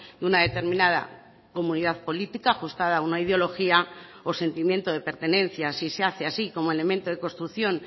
de una determinada comunidad política ajustada a una ideología o sentimiento de pertenencia si se hace así como elemento de construcción